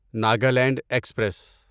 Nagaland express